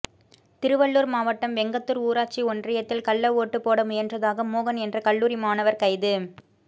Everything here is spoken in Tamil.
திருவள்ளூர் மாவட்டம் வெங்கத்தூர் ஊராட்சி ஒன்றியத்தில் கள்ள ஓட்டு போட முயன்றதாக மோகன் என்ற கல்லூரி மாணவர் கைது